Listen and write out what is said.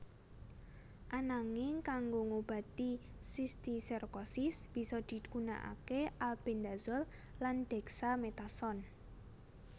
Ananging kanggo ngobati sistiserkosis bisa digunakaké Albendazole lan Dexamethasone